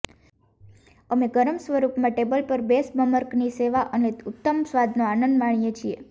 અમે ગરમ સ્વરૂપમાં ટેબલ પર બેશબર્મકની સેવા અને તેના ઉત્તમ સ્વાદનો આનંદ માણીએ છીએ